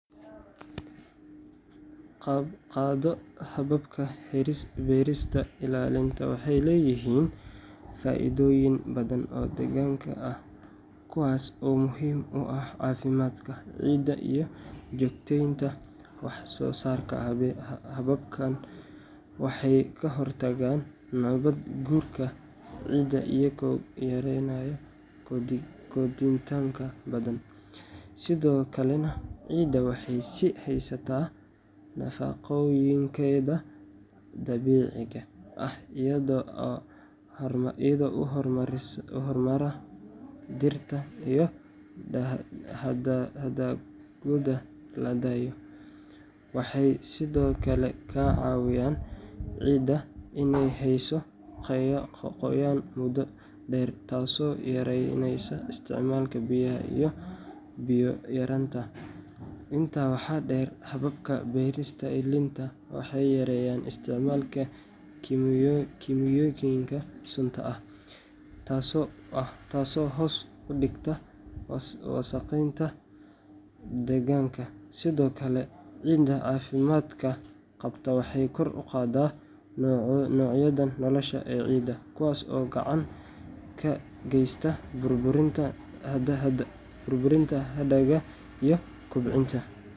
Qaado hababka beerista ilaalinta waxay leeyihiin faa’iidooyin badan oo deegaanka ah, kuwaas oo muhiim u ah caafimaadka ciidda iyo joogtaynta wax soo saarka. Hababkan waxay ka hortagaan nabaad guurka ciidda iyagoo yareynaya qoditaanka badan, sidoo kalena ciidda waxay sii haysataa nafaqooyinkeeda dabiiciga ah iyada oo haramaha dhirta iyo hadhaagooda la daayo. Waxay sidoo kale ka caawiyaan ciidda inay hayso qoyaan muddo dheer, taasoo yaraynaysa isticmaalka biyaha iyo biyo yaraanta. Intaa waxaa dheer, hababka beerista ilaalinta waxay yareeyaan isticmaalka kiimikooyinka sunta ah, taasoo hoos u dhigta wasakheynta deegaanka. Sidoo kale, ciidda caafimaad qabta waxay kor u qaadaa noocyada noolaha ee ciidda, kuwaas oo gacan ka geysta burburinta hadhaaga iyo kobcinta.